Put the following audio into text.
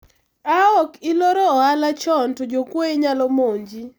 a ok iloro ohala chon to jokwoye nyalo monji